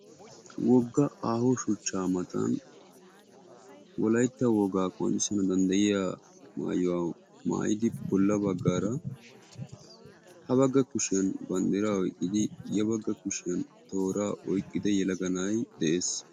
woga aaho shuchcha matan wolaytta qonccisana danddayiyaa maayuwa maayidi bolla bagaara ha baga kushiyan bandiraa oyqqidi ya baga kushiyan tooraa oyqqida na"ay beetees.